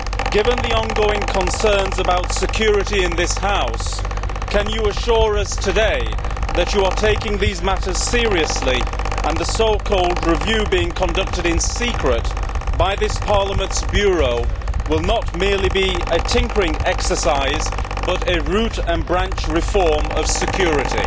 Given the ongoing concerns about security in this House, can you assure us today that you are taking these matters seriously, and that the so called review being conducted in secret by Parliament's Bureau will not merely be a tinkering exercise, but a root and branch reform of security?